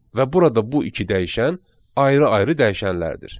Və burada bu iki dəyişən ayrı-ayrı dəyişənlərdir.